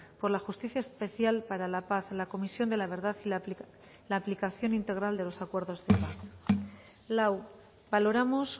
por la justicia especial para la paz la comisión de la verdad y la aplicación integral de los acuerdos de paz lau valoramos